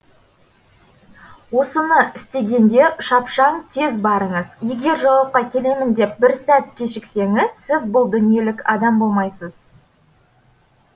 осыны істегенде шапшаң тез барыңыз егер жауапқа келемін деп бір сәт кешіксеңіз сіз бұл дүниелік адам болмайсыз